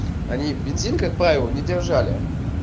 они бензин как правило не держали